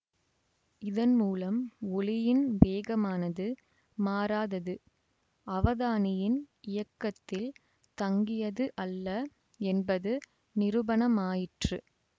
இதன் மூலம் ஒளியின் வேகமானது மாறாதது அவதானியின் இயக்கத்தில் தங்கியது அல்ல என்பது நிரூபணமாயிற்று